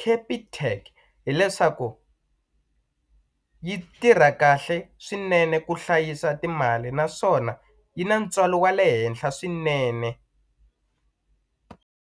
Capitec hileswaku yi tirha kahle swinene ku hlayisa timali naswona yi na ntswalo wa le henhla swinene.